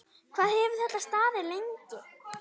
Hvað hefur þetta staðið lengi?